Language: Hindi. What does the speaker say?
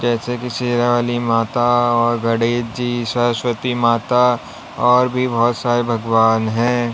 जैसे कि शेरावाली माता और गणेश जी सरस्वती माता और भी बोहोत सारे भगवान हैं।